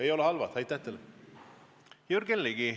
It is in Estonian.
Jürgen Ligi, palun!